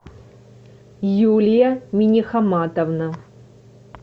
юлия минихаматовна